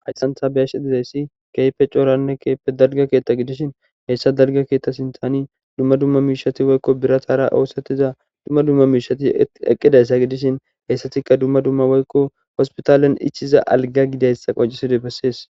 hayssan tha be7ashe dizayssi keehippe cooranne keehipe dalga keetta gidishin heyssa dalga keetta sintani dumma dumma miishati woykko biratara oosotiza dumma dumma miishati eqqidayssa gidishin heyssatikka dumma dumma woykko hospitaalen ichiza alga gidayssa qoncisidoy bessees.